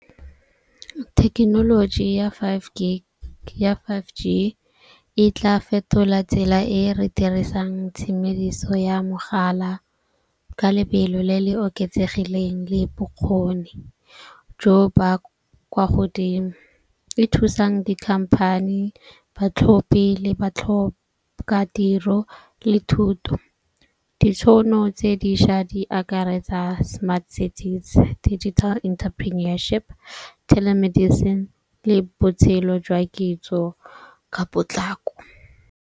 Thekenoloji ya five G e tla fetola tsela e re dirisang tshimediso ya mogala ka lebelo le le oketsegileng le bokgoni jo ba kwa godimo, e thusang dikhamphane, batlhophi le batlhoka tiro le thuto. Ditšhono tse dišwa di akaretsa smart settings, digital interpreneurship, telemedicine le botshelo jwa kitso ka potlako.